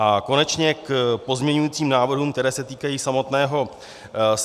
A konečně k pozměňujícím návrhům, které se týkají samotné novely.